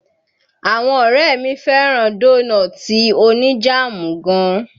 Àwọn ọ̀rẹ́ mi fẹ́ràn dónọ́ọ̀ti oní jáàmù gan.